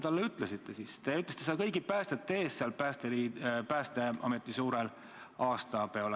Te ütlesite seda kõigi päästjate ees Päästeameti suurel aastapeol.